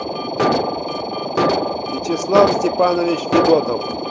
вячеслав степанович федотов